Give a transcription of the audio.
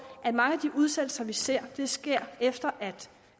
at mange af de udsættelser vi ser sker efter at